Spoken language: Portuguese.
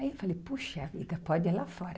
Aí eu falei, puxa vida, pode ir lá fora.